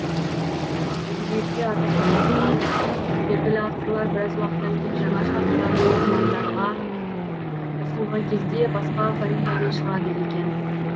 әдебиетте аты қалыптасқан белгілі авторлар біраз уақыттан кейін жаңа шығармаларын оқырмандаға ұсынған кезде басқа фамилиямен шығады екен